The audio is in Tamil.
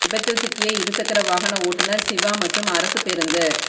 விபத்தில் சிக்கிய இருசக்கர வாகன ஓட்டுனர் சிவா மற்றும் அரசு பேருந்து